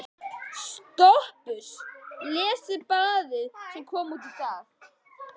SOPHUS: Lesið blaðið sem kom út í dag.